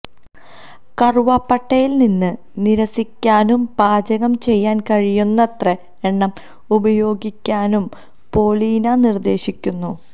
കറുവപ്പട്ടയിൽ നിന്ന് നിരസിക്കാനും പാചകം ചെയ്യാൻ കഴിയുന്നത്ര എണ്ണ ഉപയോഗിക്കാനും പോളീന നിർദ്ദേശിക്കുന്നു